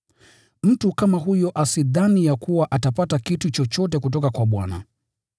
Mtu kama huyo asidhani ya kuwa atapata kitu chochote kutoka kwa Bwana.